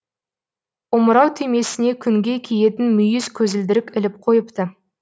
омырау түймесіне күнге киетін мүйіз көзілдірік іліп қойыпты